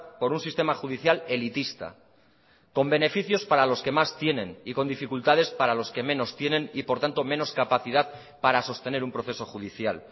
por un sistema judicial elitista con beneficios para los que más tienen y con dificultades para los que menos tienen y por tanto menos capacidad para sostener un proceso judicial